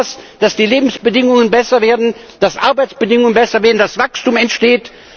Schaffen wir etwas, dass die Lebensbedingungen besser werden, dass Arbeitsbedingungen besser werden, dass Wachstum entsteht.